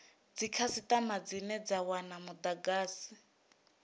dzikhasitama dzine dza wana mudagasi